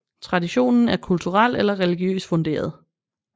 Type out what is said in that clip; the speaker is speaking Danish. Traditionen er kulturel eller religiøst funderet